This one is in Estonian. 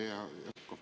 Hea Yoko!